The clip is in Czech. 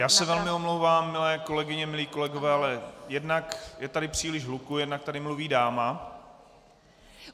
Já se velmi omlouvám, milé kolegyně, milí kolegové, ale jednak je tady příliš hluku, jednak tady mluví dáma.